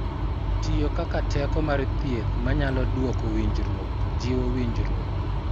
Tiyo kaka teko mar thieth manyalo duoko winjruok, jiwo winjruok,